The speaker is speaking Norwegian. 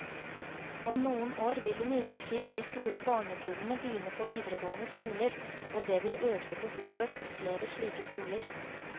Om noen år vil imidlertid de store barnekullene begynne på videregående skoler, og det vil øke behovet for flere slike skoler.